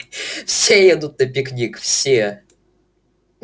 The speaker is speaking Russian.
все едут на пикник все